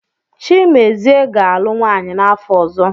Chimezie ga-alụ nwaanyị n’afọ ọzọ.